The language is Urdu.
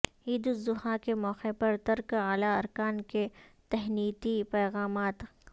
عید الاضحی کے موقع پر ترک اعلی ارکان کے تہنیتی ہپیغامات